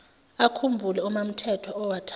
akhumbule umamthethwa owathathwa